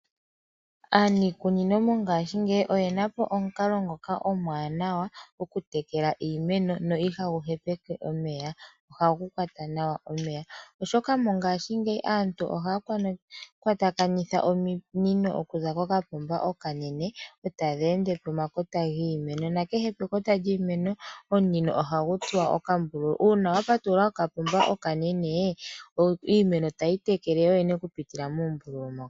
Aaniikunino mongashingeyi oyena po omukalo ngoka omwaanawa okutekela iimeno no ihagu hepeke omeya ohagu kwata nawa omeya, oshoka mongashingeyi aantu ohaya kwatakanitha ominino okuza kokapomba okanene etadhi ende pomakota giimeno. Kehe pekota lyiimeno omunino ohagu tsuwa okambululu uuna wapatulula kokapomba okanene iimeno tayi itekele yoyene okupitila moombululu moka.